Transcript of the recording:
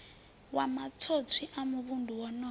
wa matswotswi a muvhundu wonoyo